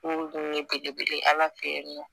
N kun ye belebele ye ala fɛ yen nɔ